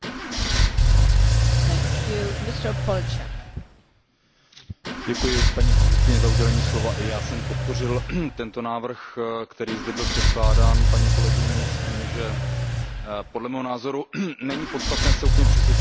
Paní předsedající, i já jsem podpořil tento návrh, který zde byl předkládán paní kolegyní, s tím, že podle mého názoru není podstatné se úplně přesvědčovat o důležitosti této ochrany na unijní úrovni, ta je skutečně nesporná.